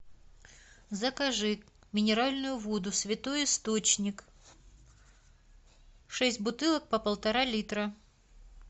закажи минеральную воду святой источник шесть бутылок по полтора литра